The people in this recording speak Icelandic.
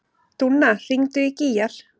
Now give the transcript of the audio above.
Dúnna, hringdu í Gígjar.